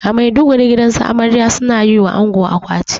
A maiduguri gidansu amarya suna yiwa ango akwati